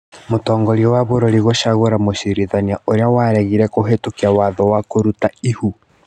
Mũtongoria wa bũrũri gũcagũra mũcirithania ũrĩa waregire kũhetũkia watho wa kũruta ihu